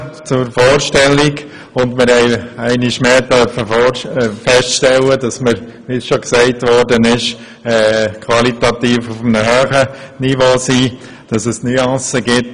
Wir konnten einmal mehr feststellen, dass wir uns auf einem qualitativ hohen Niveau befinden, und dass es lediglich Nuancen gibt.